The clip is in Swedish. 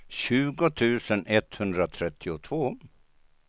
tjugo tusen etthundratrettiotvå